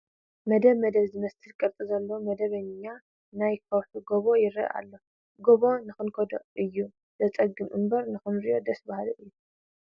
መደብ መደብ ዝመስል ቅርፂ ዘለዎ መልከዓኛ ናይ ከውሒ ጎቦ ይርአ ኣሎ፡፡ ገቦ ንክትከዶ እዩ ዘፅግም እምበር ንክትሪኦስ ደስ በሃሊ እዩ፡፡